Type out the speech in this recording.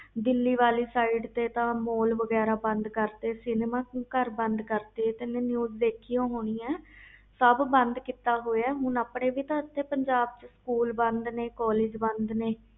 ਦਿਲੀ ਵਾਲੀ ਸਾਈਡ ਤੇ ਤਾ mall ਵਗੈਰਾ ਬੰਦ ਕਰਤੇ ਆ ਸਿਨਮੇ ਘਰ ਬੰਦ ਕਰਤੇ ਆ ਤੇ ਨਿਊਜ਼ ਦੇਖੀ ਹੋਣੀ ਆ ਸਬ ਬਾਦ ਕੀਤਾ ਹੋਇਆ ਹੁਣ ਆਪਣੇ ਪੰਜਾਬ ਵਿਚ ਵੀ ਤਾ ਸਕੂਲ ਬਾਦ ਨੇ ਕਾਲਜ ਬੰਦ ਨੇ